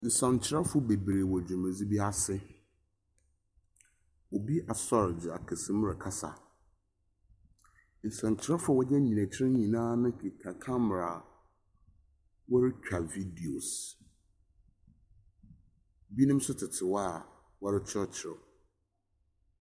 Nsɛntwerɛfo beberee wɔ dwumadzi bi ase. Obi asor dze akasa mi rekasa. Nsɛntwerɛfo a wɔgyinagyina ekyir no nyinaa kita camera a wɔretwa videos. Binom nso tete hɔ a wɔrekyerɛkyerɛw.